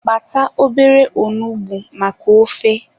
Kpata obere onugbu maka ofe.